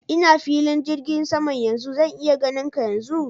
Ina filin jirgin saman yanzu. Zan iya ganin ka yanzu?